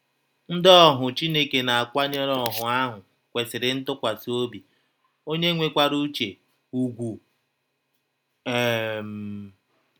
Ndị ọhụ Chineke na - akwanyere ọhụ ahụ kwesịrị ntụkwasị ọbi, ọnye nwekwara ụche, ụgwụ. um